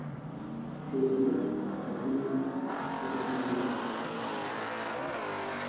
sell ও হবে একদম